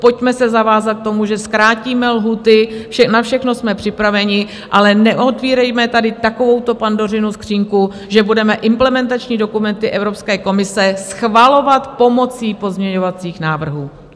Pojďme se zavázat k tomu, že zkrátíme lhůty, na všechno jsme připraveni, ale neotvírejme tady takovouto Pandořinu skříňku, že budeme implementační dokumenty Evropské komise schvalovat pomocí pozměňovacích návrhů.